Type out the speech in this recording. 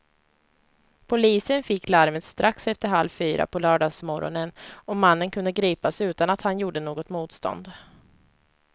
Polisen fick larmet strax efter halv fyra på lördagsmorgonen och mannen kunde gripas utan att han gjorde något motstånd.